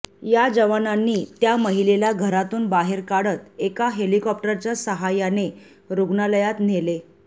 या जवानांनी त्या महिलेला घरातून बाहेर काढत एका हेलिकॉप्टरच्या साहाय्याने रुग्णालयात नेले